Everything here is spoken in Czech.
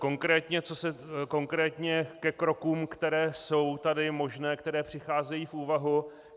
Konkrétně ke krokům, které jsou tady možné, které přicházejí v úvahu.